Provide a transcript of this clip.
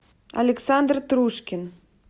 александр трушкин